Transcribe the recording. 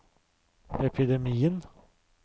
epidemien